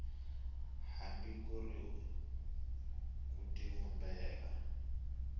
hambi ku ri ku tivumbela